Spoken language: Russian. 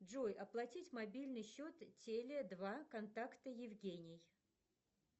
джой оплатить мобильный счет теле два контакта евгений